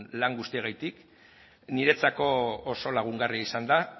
lan guztiagatik niretzako oso lagungarria izan da